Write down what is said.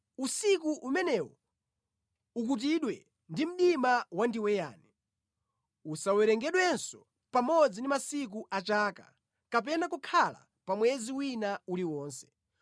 Usiku umenewo ukutidwe ndi mdima wandiweyani; usawerengedwenso pamodzi ndi masiku a chaka, kapena kukhala pa mwezi wina uliwonse.